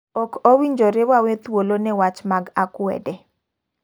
ok owinjore wawe thuolo ne wach mak akwede.